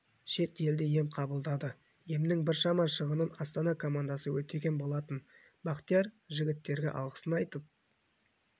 шет елде ем қабылдады емнің біршама шығынын астана командасы өтеген болатын бақтияр жігіттерге алғысын айтып